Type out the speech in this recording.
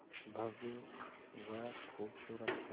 भव्य व खूबसूरत है